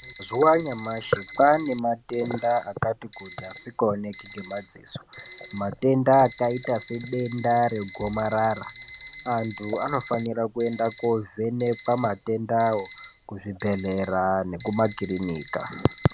Mazuwa anyamashi kwaanematenda akati kuti asikaoneki ngemadziso. Matenda akaita sedenda regomarara. Antu anofanira kuenda koovhekwa matendawo kuzvibhedhlera nekumakirinika.